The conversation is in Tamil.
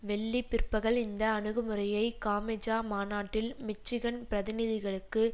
வெள்ளி பிற்பகல் இந்த அணுகுமுறையை காமெஜா மாநாட்டில் மிச்சிகன் பிரதிநிதிகளுக்கு